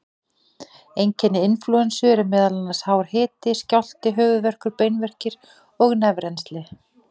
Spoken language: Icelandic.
Einkenni inflúensu eru meðal annars hár hiti, skjálfti, höfuðverkur, beinverkir og nefrennsli.